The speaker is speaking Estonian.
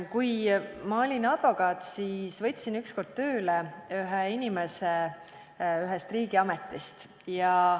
Kui ma olin advokaat, siis võtsin ükskord tööle inimese ühest riigiametist.